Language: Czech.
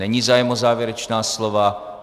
Není zájem o závěrečná slova.